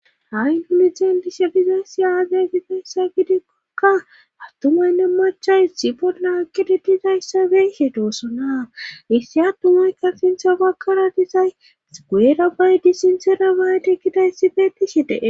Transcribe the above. ha misilen disha bizayssi aazay gizayssa gidekkokka attumaynne machays sibollaakkede dizayssa bey he doosonaa issi addu maykka sintha bakkara dizay gueerabay disinsera baaytekidayssi fe ti shi de'es